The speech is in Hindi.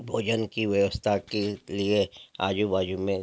भोजन की व्यवस्था के लिए आजू-बाजू में --